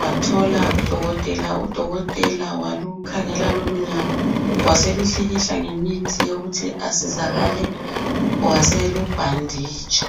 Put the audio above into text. wathola udokotela, udokotela walukhangela lolunyawo waseluhlikihla ngemithi yokuthi asizakale ,waselubhanditsha.